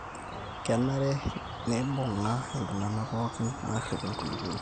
kenare neibung'a iltung'ana pooki aarrip enkulupuoni